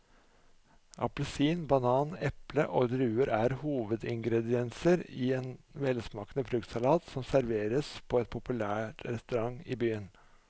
Appelsin, banan, eple og druer er hovedingredienser i en velsmakende fruktsalat som serveres på en populær restaurant i byen.